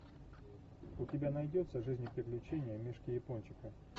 у тебя найдется жизнь и приключения мишки япончика